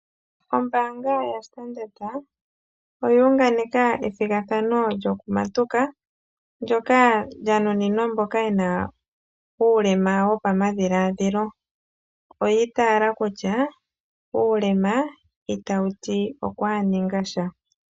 Ombaanga yaStandard oya unganeka ethigathano lyokumatuka ndyoka lya nuninwa mboka ye na uulema wopamadhiladhilo. Yo oya itayela kutya: "uulema itawu ti okuhaninga sha".